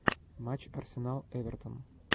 матч арсенал эвертон